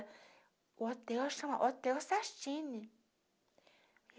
O hotel chama Hotel Sashini.